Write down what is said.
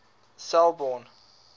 selbourne